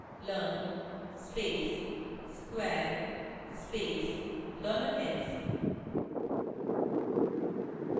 learn space square space $x